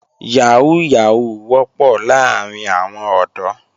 Yàhóó Yàhóó wọ́pọ̀ láàrín àwọn ọ̀dọ́